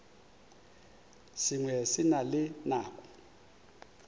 sengwe se na le nako